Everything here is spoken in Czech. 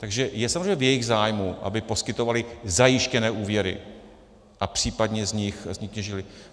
Takže je samozřejmě v jejich zájmu, aby poskytovaly zajištěné úvěry a případně z nich těžily.